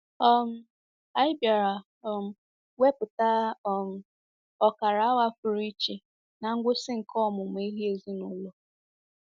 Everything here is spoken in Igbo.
um Anyị bịara um wepụta um ọkara awa pụrụ iche ná ngwụsị nke ọmụmụ ihe ezinụlọ.